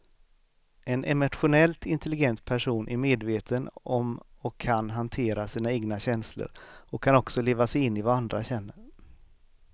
En emotionellt intelligent person är medveten om och kan hantera sina egna känslor och kan också leva sig in i vad andra känner.